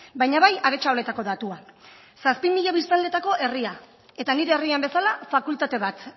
baina bai aretxabaletako datuak zazpi mila biztanletako herria eta nire herrian bezala fakultate bat